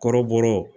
Kɔrɔbɔrɔ